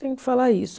Tenho que falar isso.